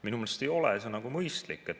Minu meelest ei ole see mõistlik.